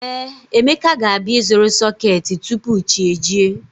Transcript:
Ee, Emeka ga-abịa ịzụrụ sọketi tupu chi ejie